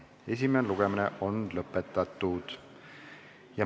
Esimene lugemine on lõpetatud.